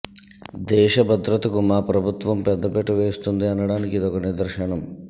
దేశ భద్రతకు మా ప్రభుత్వం పెద్ద పీట వేస్తుంది అనడానికి ఇదొక నిదర్శనం